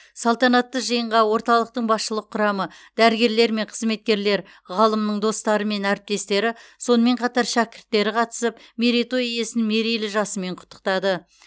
салтанатты жиынға орталықтың басшылық құрамы дәрігерлер мен қызметкерлер ғалымның достары мен әріптестері сонымен қатар шәкірттері қатысып мерейтой иесін мерейлі жасымен құттықтады